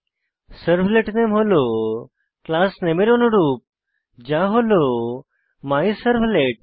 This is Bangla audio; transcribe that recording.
সার্ভলেট নামে হল ক্লাস নামে এর অনুরূপ যা হল মাইসার্ভলেট